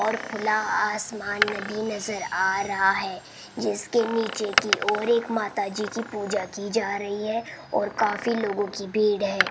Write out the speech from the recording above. और खुला आसमान भी नजर आ रहा है जिसके नीचे की ओर एक माताजी की पूजा की जा रही है और काफी लोगों की भीड़ है।